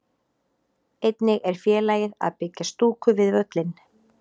Einnig er félagið að byggja stúku við völlinn.